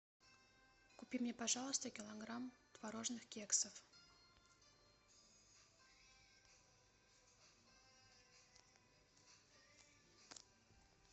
купи мне пожалуйста килограмм творожных кексов